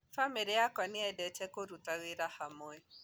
Bamĩrĩ yakwa nĩyendete kũruta wĩra hamwe